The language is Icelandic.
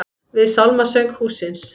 Við sálmasöng hússins.